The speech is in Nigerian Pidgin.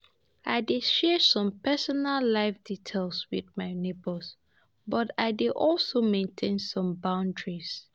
I dey share some personal life details with my neighbors, but I dey also maintain some boundaries.